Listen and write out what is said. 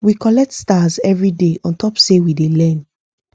we collect stars every day on top say we dey learn